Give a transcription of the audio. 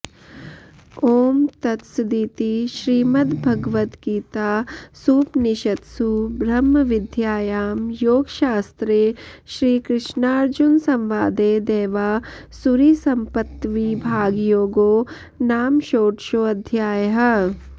ॐ तत्सदिति श्रीमद्भगवद्गीतासूपनिषत्सु ब्रह्मविद्यायां योगशास्त्रे श्रीकृष्नार्जुनसंवादे दैवासुरीसम्पत्त्विभागयोगो नाम शोडशोऽध्यायः